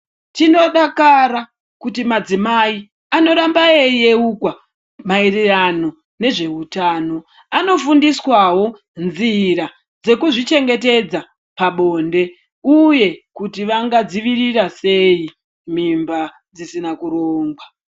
Tinodakara kuti madzimai anoramba eiyeukwa maererano nezveutano . Anofundiswawo nzira dzekuzvichengetedza pabonde uye kuti vangadzivirira sei mimba dzisina kurongwa .